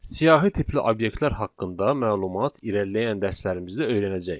Siyahı tipli obyektlər haqqında məlumat irəliləyən dərslərimizdə öyrənəcəyik.